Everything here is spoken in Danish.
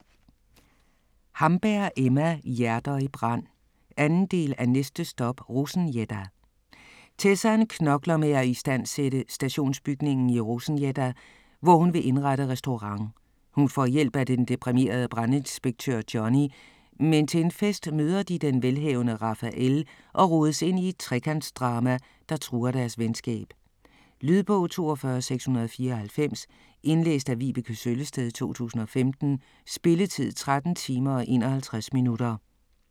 Hamberg, Emma: Hjerter i brand 2. del af Næste stop Rosengädda!. Tessan knokler med at istandsætte stationsbygningen i Rosengädda, hvor hun vil indrette restaurant. Hun får hjælp af den deprimerede brandinspektør Johnny, men til en fest møder de den velhavende Rafael og rodes ind i et trekantsdrama, der truer deres venskab. Lydbog 42694 Indlæst af Vibeke Søllested, 2015. Spilletid: 13 timer, 51 minutter.